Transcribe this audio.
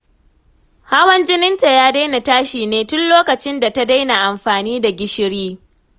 Hawan jininta ya daina tashi ne tun lokacin da ta daina amfani da gishiri.